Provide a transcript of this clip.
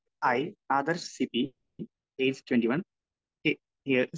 speaker 1 E, Adarsh C B, age 21, hair